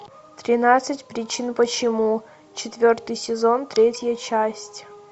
тринадцать причин почему четвертый сезон третья часть